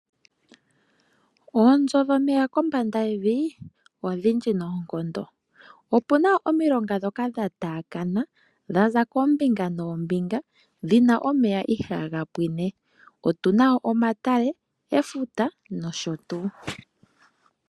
Oonzo dhomeya kombanda yevi odhindji noonkondo. Opu na omilonga dhoka dhataakana dhaza koombinga noombinga dhina omeya ihaagapwiine. Otu na omatale, efuta nosho tuu.